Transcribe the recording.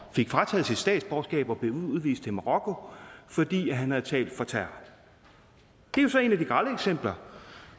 fik frataget sit statsborgerskab og blev udvist til marokko fordi han havde talt for terror det er så et af de grelle eksempler